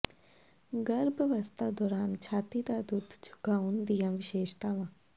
ਗਰਭ ਅਵਸਥਾ ਦੌਰਾਨ ਛਾਤੀ ਦਾ ਦੁੱਧ ਚੁੰਘਾਉਣ ਦੀਆਂ ਵਿਸ਼ੇਸ਼ਤਾਵਾਂ